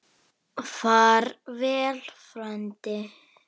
Far vel frændi.